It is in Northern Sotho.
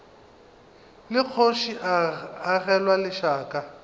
la kgoši le agelwa lešaka